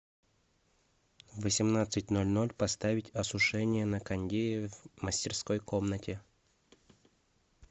в восемнадцать ноль ноль поставить осушение на кондее в мастерской комнате